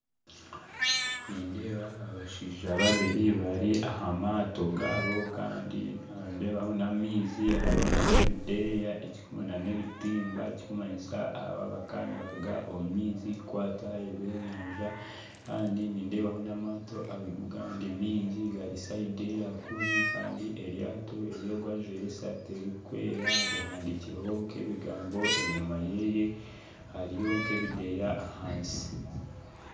Nindeeba abashaija babiri bari aha mato gabo Kandi nindebaho n'amaizi hariho na ebideya na ebitimba ekirikumanyisa aba bakaba nibaruga omu maizi kukwata eby'enyanja kandi nindebaho n'amatto agandi maingi gari sayidi eya kuri Kandi eryato eryogwo ajwaire esati erukwera rihandikirweho nk'ebigambo enyuma yeye hariyo nk'ebideya ahansi.